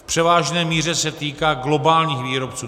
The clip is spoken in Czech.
V převážné míře se týká globálních výrobců.